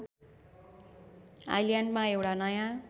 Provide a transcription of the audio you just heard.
आइल्यान्डमा एउटा नयाँ